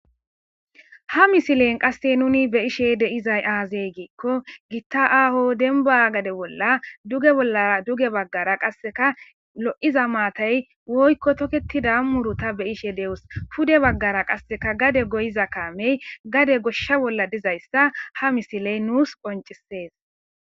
Ha misileyn qasse nuni be ishe deizay aazey giikko gitta aaho denba gade bolla dugeolla duge baggara qasseka lo'iza maatay woykko toketida murota beyishe de'os kude baggara qasseka gade goyiza kaamey gade goshsha bolla dizayssa ha misiley nuus qoncisees.